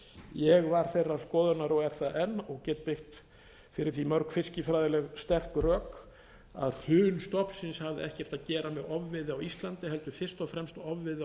ég var þeirrar skoðunar og er það enn og get byggt fyrir því mörg fiskifræðileg sterk rök að hrun stofnsins hafði ekkert að gera með ofveiði á íslandi heldur fyrst og fremst ofveiði á